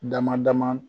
Dama dama